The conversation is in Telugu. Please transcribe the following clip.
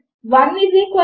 నేను దీనిని మారుస్తాను